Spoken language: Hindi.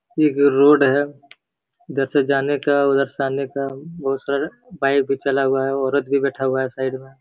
यह एक रोड है। इधर से जाने का उधर से आने का। बोहोत सारा बाइक भी चला हुआ है। औरत भी बैठा हुआ है साइड में --